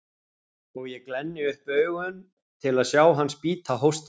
Og ég glenni upp augun til að sjá hann spýta hóstinu.